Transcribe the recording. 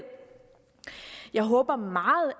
jeg håber meget